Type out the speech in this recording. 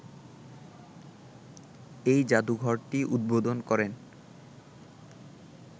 এই জাদুঘরটি উদ্বোধন করেন